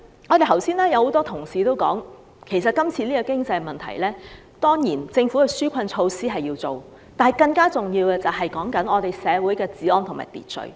剛才有很多同事也說，面對現時的經濟問題，政府當然要推出紓困措施，但更重要的是維持社會的治安和秩序。